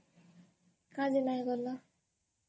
କା ଯେ ନାଇଁ ଗଲ?